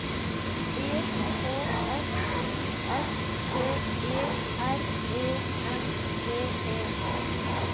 E K S I S T E R E N D E